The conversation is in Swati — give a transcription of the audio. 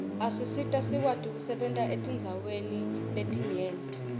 asisita sikwati kusebenta etindzaweni letinyenti